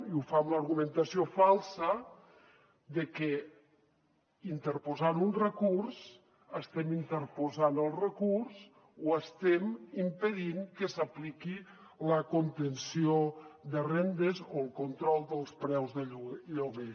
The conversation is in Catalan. i ho fa amb l’argumentació falsa de que interposant un recurs estem interposant el recurs o estem impedint que s’apliqui la contenció de rendes o el control dels preus de lloguer